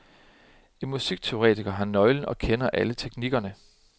En musikteoretiker har nøglen og kender alle teknikkerne.